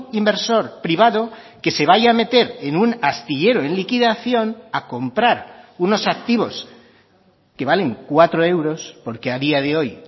inversor privado que se vaya a meter en un astillero en liquidación a comprar unos activos que valen cuatro euros porque a día de hoy